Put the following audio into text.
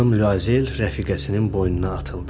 Xanım Luazel rəfiqəsinin boynuna atıldı.